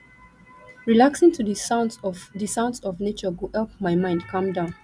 relaxing to di sounds of di sounds of nature go help my mind calm down